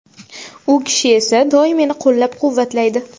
U kishi esa doim meni qo‘llab-quvvatlaydi.